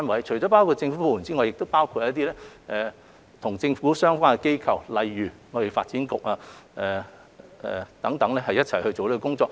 除政府部門外，亦包括與一些政府相關的機構如貿發局，共同進行這工作。